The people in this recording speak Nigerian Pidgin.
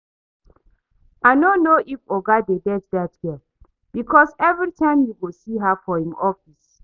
I no know if oga dey date dat girl because everytime you go see her for im office